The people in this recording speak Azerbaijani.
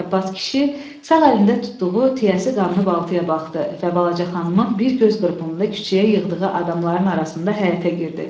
Ələbbas kişi sağ əlində tutduğu tiyəsi qanlı baltaya baxdı və balaca xanımın bir göz qırpımında küçəyə yığdığı adamların arasında həyətə girdi.